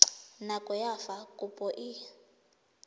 nako ya fa kopo e